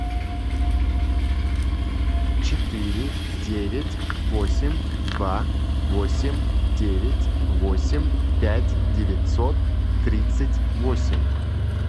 четыре девять восемь два восемь девять восемь пять девятьсот тридцать восемь